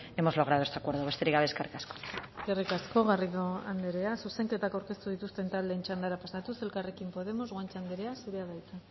hemos logrado este acuerdo besterik gabe eskerrik asko eskerrik asko garrido andrea zuzenketak aurkeztu dituzten taldeen txandara pasatuz elkarrekin podemos guanche andrea zurea da hitza